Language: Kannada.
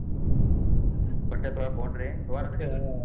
ಬಟ್ಟೆ ತೊಗೋಳಾಕ್ ಹೋಗುಣ್ರಿ ಮತ್ತ್ ರೀ .